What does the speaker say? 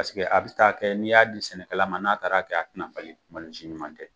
Paseke a bɛ taa kɛ n'i y'a di sɛnɛkɛ la ma, n'a taara kɛ, a tɛna falen. Malo si ɲuman tɛ.